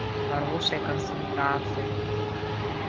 хорошая консультация